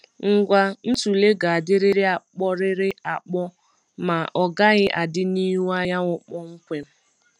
Ngwa ntule ga-adịrịrị akpọrịrị akpọ ma ọgaghị adị n’ihu anyanwụ kpọmkwem.